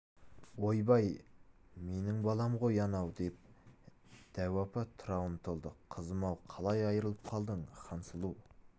ойбай менің балам ғой анау деп дәу апа тұра ұмтылды кызым-ау қалай айырылып қалдың хансұлу